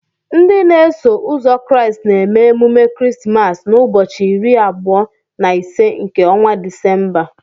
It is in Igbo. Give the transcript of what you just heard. Ndị n'eso uzo Kraịst na-eme emume Christmas na ụbọchị iri abụo na ise nke ọnwa December